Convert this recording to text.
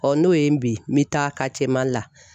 Ɔ n'o ye n bin n bɛ taa KaritiyeMali la